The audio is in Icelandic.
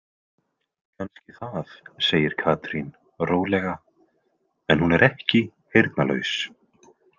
Kannski það, segir Katrín rólega, „en hún er ekki heyrnarlaus“